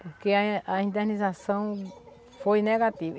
Porque a a indenização foi negativa.